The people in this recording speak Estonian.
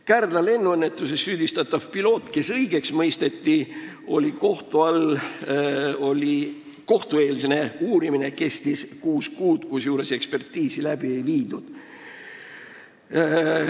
Kärdla lennuõnnetus: süüdistatav piloot mõisteti õigeks, aga kohtueelne uurimine kestis kuus kuud, kusjuures ekspertiisi läbi ei viidud.